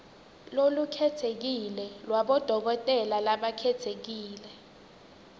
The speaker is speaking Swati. lolukhetsekile lwabodokotela labakhetsekile